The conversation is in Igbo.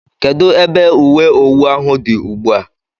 Kedụ ebe ùwé owu ahụ dị ugbua?